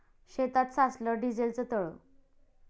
शेतात साचलं डिझेलचं तळं